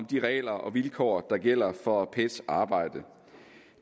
de regler og vilkår der gælder for pets arbejde